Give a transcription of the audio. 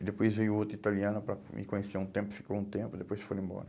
E depois veio outra italiana para me conhecer um tempo, ficou um tempo, depois foi embora.